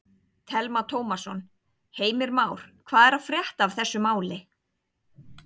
Telma Tómasson: Heimir Már, hvað er að frétta af þessu máli?